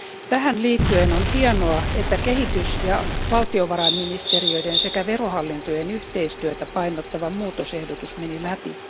Tähän liittyen on hienoa, että kehitys ja valtiovarainministeriöiden sekä verohallintojen yhteistyötä painottava muutosehdotus meni läpi.